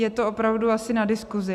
Je to opravdu asi na diskusi.